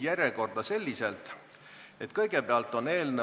Selge, sellisel juhul langeb teine